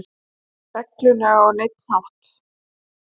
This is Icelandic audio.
reglunni á neinn hátt.